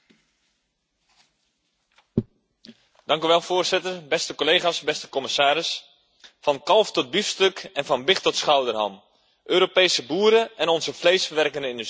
Beste collega's, beste commissaris, van kalf tot biefstuk en van big tot schouderham, Europese boeren en onze vleesverwerkende industrie voldoen aan de hoogste eisen op het gebied van voedselveiligheid.